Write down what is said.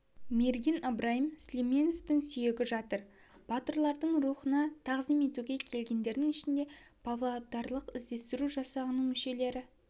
мерген ыбырайым сүлеуменовтың сүйегі жатыр батырлардың рухына тағзым етуге келгендердің ішінде павлодарлық іздестіру жасағының мүшелері